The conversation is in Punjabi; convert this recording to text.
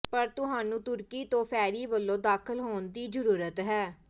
ਪਰ ਤੁਹਾਨੂੰ ਤੁਰਕੀ ਤੋਂ ਫੈਰੀ ਵੱਲੋਂ ਦਾਖਲ ਹੋਣ ਦੀ ਜ਼ਰੂਰਤ ਹੈ